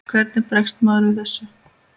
Hvernig bregst maður við þessu?